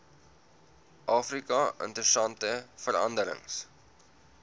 afrika interessante veranderings